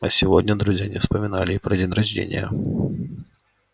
а сегодня друзья не вспоминали и про день рождения